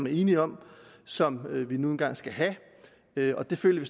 er enige om som vi nu engang skal have og det føler vi